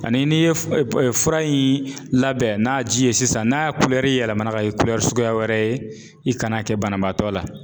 Ani n'i ye f p fura in labɛn n'a ji ye sisan n'a kulɛri yɛlɛmana k'a kɛ suguya wɛrɛ ye i kan'a kɛ banabaatɔ la.